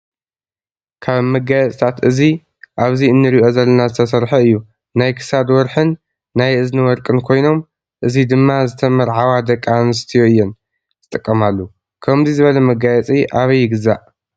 ካብ መጋየፂታት እዚ ኣብእዚእንሪኦ ዘለና ዝተሰረሐ እዩ። ናይ ክሳድ ወርሕን ናይ እዝኒ ወርቅን ኮይኖም እዚ ድማ ዝተመርዐዋ ደቂ ኣንስትዮ እየን ዝጥቀማሉ። ከምዙይ ዝበለ መጋየፂ ኣበይ ይግዛእ?